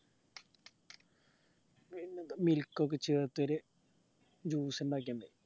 milk ഒക്കെ ചേർത്തൊരു milk ഇണ്ടാക്കിയണ്ട്